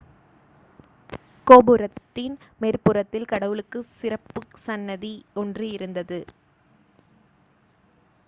கோபுரத்தின் மேற்புறத்தில் கடவுளுக்குச் சிறப்பு சன்னதி ஒன்று இருந்தது